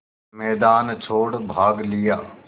मैदान छोड़ भाग लिया